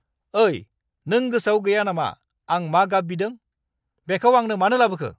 ओइ, नों गोसोआव गैया नामा आं मा गाब बिदों? बेखौ आंनो मानो लाबोखो?